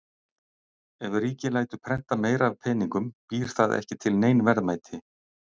Ef ríkið lætur prenta meira af peningum býr það ekki til nein verðmæti.